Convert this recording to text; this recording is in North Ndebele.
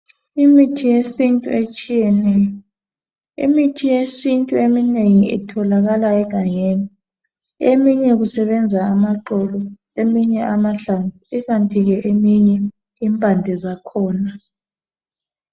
Imithi yesintu etshiyeneyo. Imithi yesintu eminengi itholakala egangeni. Eminye kusebenza amaxolo, eminye amahlamvu ikanti ke eminye impande zakhona.